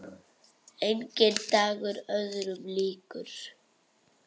Enginn dagur öðrum líkur.